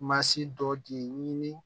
Masi dɔ de ye ɲini